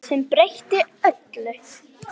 Sem breytti öllu.